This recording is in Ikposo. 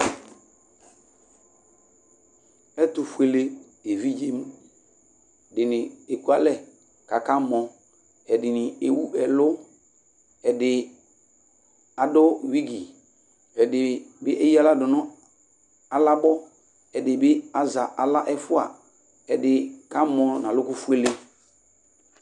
Ɛtu fuele evidze dini ekualɛ k'aka mɔ, ɛdini ewu ɛlu, ɛdi adu wigĩ, ɛdi bi eya aɣla du nu alabɔ, ɛdi bi azɛ aɣla ɛfua, ɛdi ka mɔ n'alukù fuele